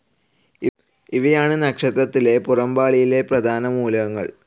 ഇവയാണ് നക്ഷത്രത്തിലെ പുറംപാളിയിലെ പ്രധാനമൂലകങ്ങൾ.